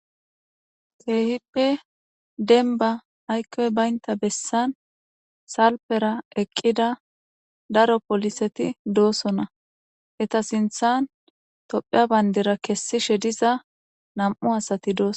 Kehipe Demba Aykoy Baynta Besan Salpera Eqida Daro Poliseti Dosona. Eta Sinthan Topia Bandira Kessishe Diza Nam'u Asati Dosona.